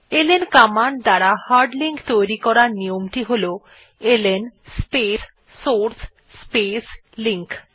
LN command দ্বারা hard link তৈরী করার নিয়মটি হল ln space source space link